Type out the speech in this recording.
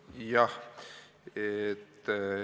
Jah.